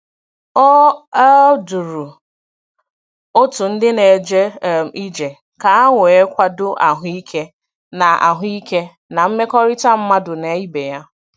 O um duru otu ndị na-eje um ije ka e wee kwado ahụ ike na ahụ ike na mmekọrịta mmadụ na ibe ya